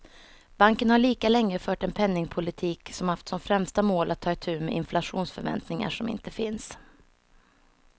Banken har lika länge fört en penningpolitik som haft som främsta mål att ta itu med inflationsförväntningar som inte finns.